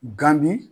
Gan di